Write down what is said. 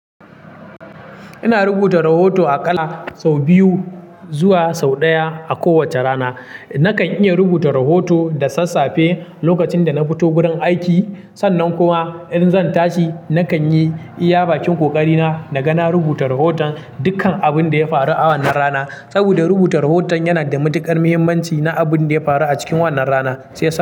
Ina rubuta rahoto a kala sau biyu zuwa sau ɗaya a kowacce rana. Nakan iya rubuta rahoto da sassafe lokacin da na fito gurin aiki. Sannan kuma in zan tashi, nakan yi iya bakin ƙoƙari na, na ga na rubuta rahoton dukkan abun da ya faru a wannan rana. Saboda rubuta rahoton yana da matuƙar muhimmanci na abun da ya faru a cikin wannan rana. Shi yasa.